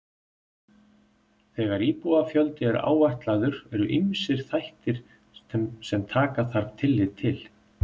þegar íbúafjöldi er áætlaður eru ýmsir þættir sem taka þarf tillit til